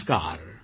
નમસ્કાર